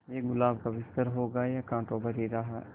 ये गुलाब का बिस्तर होगा या कांटों भरी राह